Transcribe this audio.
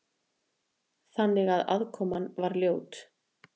Þannig að aðkoman var ljót.